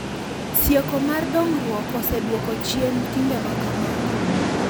Sieko mar dongruok oseduoko chien timbe makamagi.